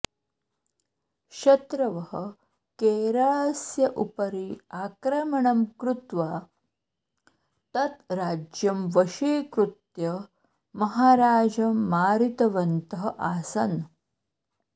शत्रवः केरळस्य उपरि आक्रमणं कृत्वा तत् राज्यं वशीकृत्य महाराजं मारितवन्तः आसन्